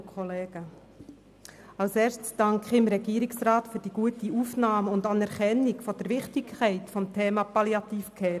Ich danke dem Regierungsrat für die gute Aufnahme und Anerkennung der Wichtigkeit des Themas Palliative Care.